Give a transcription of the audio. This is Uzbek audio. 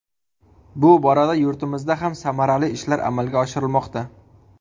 Bu borada yurtimizda ham samarali ishlar amalga oshirilmoqda.